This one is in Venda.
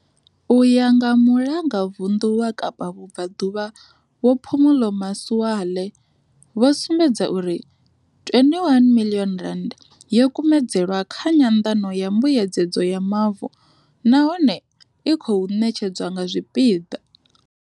U ya nga Mulanga vunḓu wa Kapa Vhubvaḓuvha Vho Phumulo Masualle, vho sumbedza uri R21 miḽioni yo kumedzelwa kha nyanḓano ya mbuyedzedzo ya mavu nahone i khou ṋetshedzwa nga zwipiḓa.